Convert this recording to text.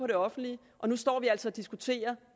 det offentlige og nu står vi altså og diskuterer